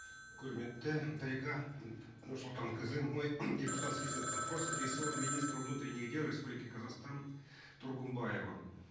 құрметті дариға нұрсұлтанқызы мой депутатский запрос адресован министру внутренних дел республики казахстан тургумбаеву